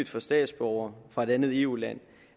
for statsborgere fra et andet eu land